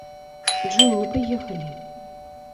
джой ну поехали